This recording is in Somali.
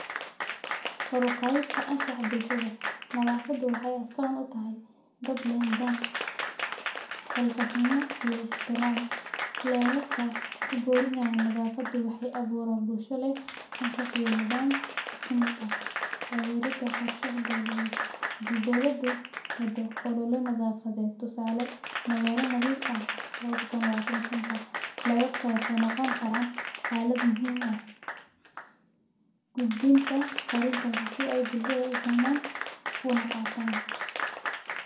Kor uqadista anshax bulshada, nadhafada waxay astan utahay dad leh nidham, xilkas nimo iyo ixtiram xerarka kuborinaya nadhafada waxay aburan bulsha leh anshax iyo nidham iskumid ah tagerad qorshaha dowladed, hadi dowlada wadao olala nadhafaded, tusale magala nadhif ah labadha kun iyo labitinka iyo shanta ledadka waxay noqoni karan alad muhim ah gudbinta farintas si ay bulshada ufahman unaqatan.